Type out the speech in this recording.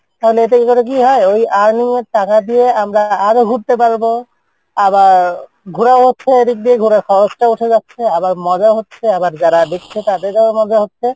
তাহলে এতে করে কী হয় ওই earning এর টাকা দিয়ে আমরা আরো ঘুরতে পারবো আবার ঘুরাও হচ্ছে এদিক দিয়ে ঘুরার খরচ টাও উঠে যাচ্ছে আবার মজা হচ্ছে আবার যারা দেখছে তাদেরও মজা হচ্ছে,